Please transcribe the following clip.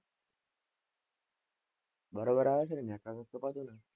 બરોબર આવે છે ને?